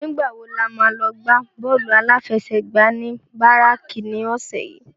Nigbá wó lámá lò gbá bòlú áláfèsègbá ni báráki ni òsè yi?